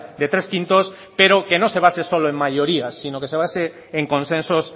de tres quintos pero que no se base solo en mayorías sino que se base en consensos